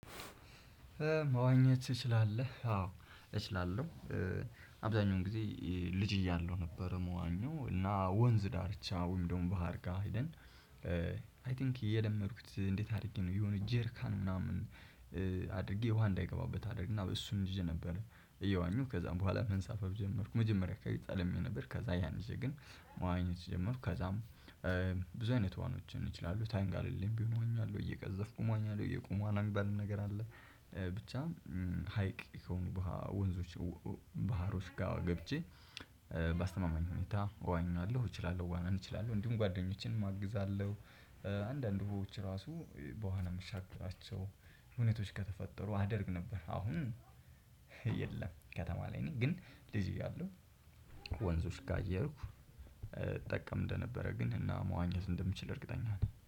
መዋኘት ትችላለህ አዎ እችላለሁ። አብዛኛውን ጊዜ ልጅ እያለሁ ነበር መዋኛው እና ወንዝ ዳርቻ ወይም ደግሞ ባህር ጋር ሄደን። አይ ቲንክ የለመድኩት እንዴት አድርጌ ነው። የሆነ ጀርካን ምናምን አድርጌ ውሃ እንዳይገባበት አደረግና እሱን ይዤ ነበር እየዋኘሁ ከዛም በኋላ መንሳፈፍ ጀመርኩ። መጀመሪያ ከኢጣሊያ ነበር። ከዛ ያን ጊዜ ግን መዋኘት ጀመርኩ ከዛም። ብዙ አይነት ዋኖችን ይችላሉ ተንጋልዬ ቢሆን እወኛለሁ እየቀዘፍኩ እወኛለሁ እየቆሙ ዋና ሚባል ነገር አለ። ብቻ ሀይቅ የሆኑ ወንዞች ባህሮች ጋር ገብቼ። ባስተማማኝ ሁኔታ እወኛለሁ እችላለሁ ዋናን እችላለሁ እንዲሁም ጓደኞችንም አግዛለሁ። አንዳንድ ዉሆች ራሱ በዋና የምሻገራቸው እውነቶች ከተፈጠሩ አደርግ ነበር። አሁን የለም ከተማ ላይ ነኝ። ግን ልጅ እያለሁ ወንዞች ጋር እየሄድኩ እጠቀም እንደነበረ ግን እና መዋኘት እንደምችል እርግጠኛ ነኝ